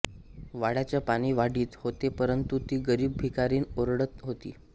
वाळ्याचे पाणी वाढीत होते परंतु ती गरीब भिकारीण ओरडत होती